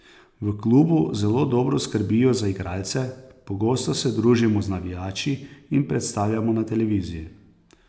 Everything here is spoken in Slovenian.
V klubu zelo dobro skrbijo za igralce, pogosto se družimo z navijači in predstavljamo na televiziji.